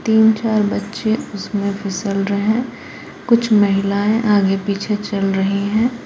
तीन चार बच्चे उसमें फिसल रहे हैं कुछ महिलाएं आगे पीछे चल रही हैं।